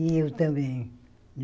E eu também.